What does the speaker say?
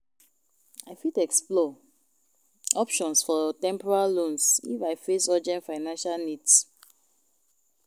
I fit explore options for temporary loans if I face urgent financial needs.